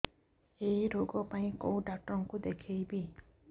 ଏଇ ରୋଗ ପାଇଁ କଉ ଡ଼ାକ୍ତର ଙ୍କୁ ଦେଖେଇବି